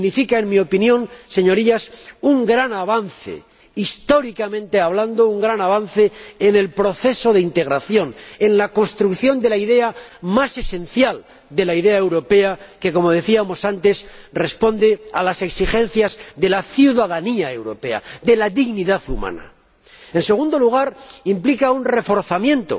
Significa, en mi opinión, Señorías, un gran avance, históricamente hablando, en el proceso de integración, en la construcción de la noción más esencial de la idea europea, que —como decíamos antes— responde a las exigencias de la ciudadanía europea, de la dignidad humana. Implica asimismo un reforzamiento